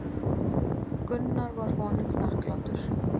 Gunnar var honum þakklátur.